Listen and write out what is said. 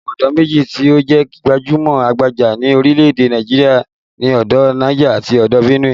Àwọn odò méjì tí ó jẹ́ gbajú-gbajà ní orílè-èdè Nàìjirià ni odò Niger àti odò Benue